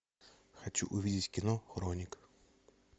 хочу увидеть кино хроник